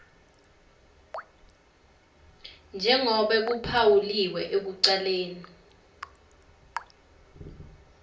njengobe kuphawuliwe ekucaleni